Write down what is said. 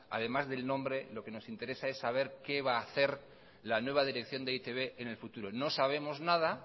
además del nombre lo que nos interesa es saber qué va hacer la nueva dirección de e i te be en el futuro no sabemos nada